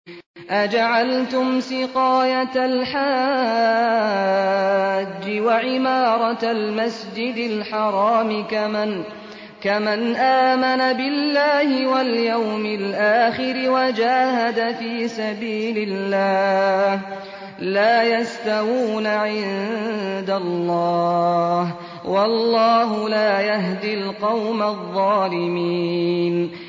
۞ أَجَعَلْتُمْ سِقَايَةَ الْحَاجِّ وَعِمَارَةَ الْمَسْجِدِ الْحَرَامِ كَمَنْ آمَنَ بِاللَّهِ وَالْيَوْمِ الْآخِرِ وَجَاهَدَ فِي سَبِيلِ اللَّهِ ۚ لَا يَسْتَوُونَ عِندَ اللَّهِ ۗ وَاللَّهُ لَا يَهْدِي الْقَوْمَ الظَّالِمِينَ